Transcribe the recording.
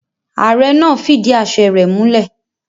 Ààre náà fidí àse rẹ múlè.